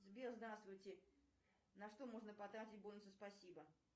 сбер здравствуйте на что можно потратить бонусы спасибо